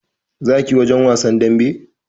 Za ka tafi wajen wasan damben!